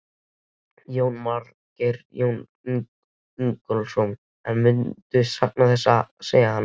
Jónas Margeir Ingólfsson: En muntu sakna þess að segja hana?